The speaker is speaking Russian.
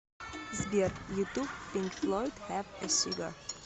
сбер ютуб пинк флойд хэв э сигар